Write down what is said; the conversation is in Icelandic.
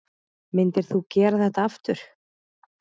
Myndir þú gera þetta aftur?